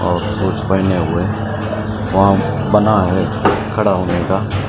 पेहने हुए वहा बना है खडा होने का --